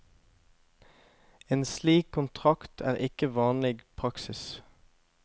En slik kontrakt er ikke vanlig praksis.